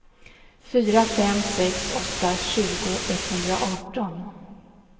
fyra fem sex åtta tjugo etthundraarton